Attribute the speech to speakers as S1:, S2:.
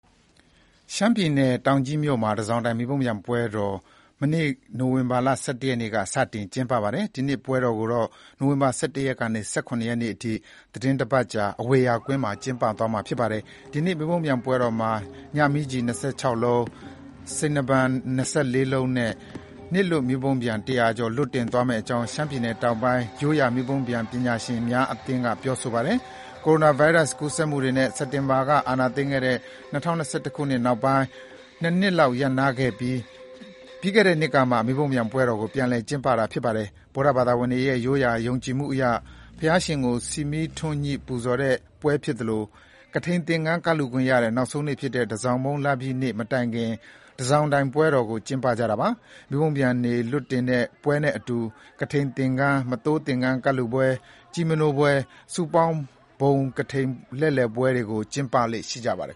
S1: ရှမ်းပြည်နယ် တောင်ကြီးမြို့မှာ တန်ဆောင်တိုင် မီးပုံးပျံ ပွဲတော် မနေ့က နိုဝင်ဘာ ၁၁ ရက်နေ့က စတင် ကျင်းပပါတယ်။ဒီနှစ်ပွဲတော်ကို နိုဝင်ဘာ ၁၁ ရက်ကနေ ၁၇ ရက်အထိ သီတင်းတပတ်တာ အဝေရာ ကွင်းမှာကျင်းပသွားမှာပါ။ ဒီနှစ် မီးပုံးပျံပွဲတော်မှာ ညမီးကျည် ၂၆ လုံး၊ စိန်နားပန် ၂၄ လုံးနဲ့ နေ့လွှတ်မီးပုံးပျံ ၁၀၀ ကျော် လွှတ်တင်သွားမယ့်အကြောင်း ရှမ်းပြည်နယ် (တောင်ပိုင်း) ရိုးရာမီးပုံးပျံပညာရှင်များအသင်းက ပြော ဆိုပါတယ်။ ကိုရိုနာဗိုင်းရပ်စ်ကူးစက်မှုတွေနဲ့ စစ်တပ်က အာဏာသိမ်းခဲ့တဲ့ ၂၀၂၁ နှစ်နောက်ပိုင်း ၂ နှစ်လောက် ရပ်နားခဲ့ပြီး ပြီးခဲ့တဲ့နှစ်ကမှ မီးပုံးပျံပွဲတော် ပြန်လည် ကျင်းပတာဖြစ်ပါတယ်။ ဗုဒ္ဓဘာသာဝင်တွေရဲ့ ရိုးရာ ယုံကြည်မှုအရ ဘုရားရှင်ကို ဆီမီးထွန်းညှိ ပူဇော်တဲ့ပွဲဖြစ်သလို ကထိန်သင်္ကန်း ကပ်လှူခွင့်ရတဲ့နောက်ဆုံးနေ့ ဖြစ်တဲ့ တန်ဆောင်မုန်းလပြည့်နေ့ မတိုင်ခင် တန်ဆောင်တိုင်ပွဲတော်ကို ကျင်းပတာပါ။ မီးပုံးပျံလွှတ်တင်တဲ့ပွဲနဲ့အတူ ကထိန်သင်္ကန်း၊ မသိုးသင်္ကန်းကပ်လှူပွဲ၊ ကျီးမနိုးပွဲ၊ စုပေါင်းမဟာဘုံကထိန်လှည့်လှည်ပွဲတွေ ကျင်းပလေ့ရှိပါတယ်